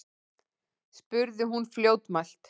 spurði hún fljótmælt.